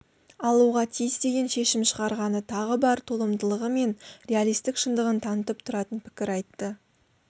алуға тиіс деген шешім шығарғаны тағы бар толымдылығы мен реалистік шындығын танытып тұратын пікір айтты